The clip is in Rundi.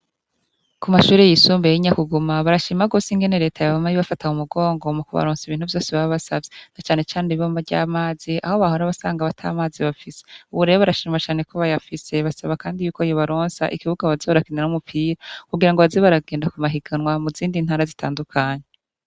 Kumashure yisumbuye y'inyakuguma barashima gose ingene reta yama ibafata mu mugongo mukubaronsa ibintu vyose baba basavye na cane cane ibombo ry'amazi aho bahora basaga ata mazi bafise, ubu rero barashima cane ko bayafise basaba kandi ko yobaronsa ikibuga baza barakiniramwo umupira kugira ngo baze baragenda kumuhinganwa muzindi ntara zitadukanye.